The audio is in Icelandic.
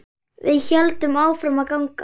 Við héldum áfram að ganga.